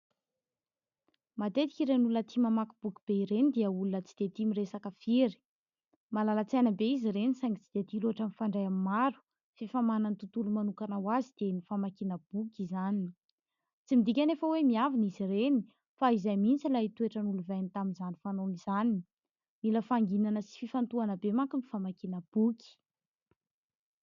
Matetika ireny olona tia mamaky boky be ireny dia olona tsy de tia miresaka firy. Malala-tsaina be izy ireny saingy tsy de tia loatra mifandray amin'ny maro f'efa manana ny tontolony manokana ho azy dia ny famakiana boky izany. Tsy midika anefa hoe miavona izy ireny fa izay mihintsy ilay toetra nolovainy tamin'izany fanaony izany. Mila fahanginana sy fifantohana be manko ny famakiana boky.